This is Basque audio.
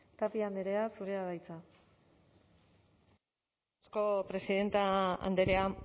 tapia andrea zurea da hitza eskerrik asko presidente andrea